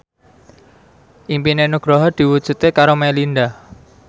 impine Nugroho diwujudke karo Melinda